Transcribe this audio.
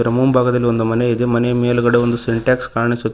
ಇದರ ಮುಂಭಾಗದಲ್ಲಿ ಒಂದು ಮನೆ ಇದೆ ಮನೆ ಮೇಲ್ಗಡೆ ಒಂದು ಸಿಂಟ್ಯಾಕ್ಸ್ ಕಾಣಿಸುತ್ತಿ--